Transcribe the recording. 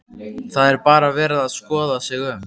Það er bara verið að skoða sig um?